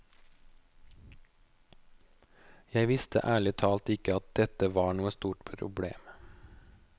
Jeg visste ærlig talt ikke at dette var noe stort problem.